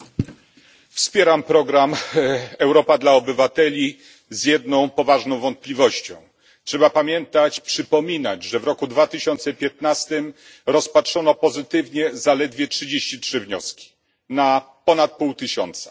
Panie Przewodniczący! Wspieram program Europa dla Obywateli z jedną poważną wątpliwością. Trzeba pamiętać i przypominać, że w roku 2015 rozpatrzono pozytywnie zaledwie 33 wnioski na ponad pół tysiąca.